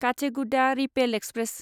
Kacheguda Repalle express